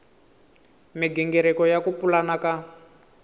migingiriko ya ku pulana ka